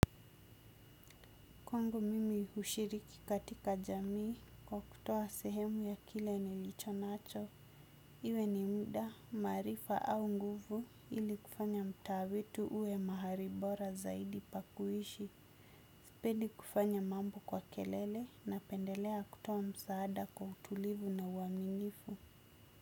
Kwangu mimi hushiriki katika jamii kwa kutoa sehemu ya kile nilicho nacho. Iwe ni muda, maarifa au nguvu ili kufanya mtaa wetu uwe mahali bora zaidi pa kuishi. Sipendi kufanya mambo kwa kelele napendelea kutoa msaada kwa utulivu na uaminifu.